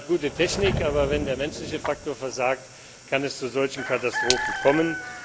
Man hat eine gute Technik, aber wenn der menschliche Faktor versagt, kann es zu solchen Katastrophen kommen.